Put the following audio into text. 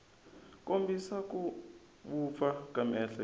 kombisa ku vupfa ka miehleketo